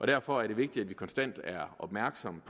derfor er det vigtigt at vi konstant er opmærksomme